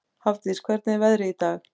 Hafdís, hvernig er veðrið í dag?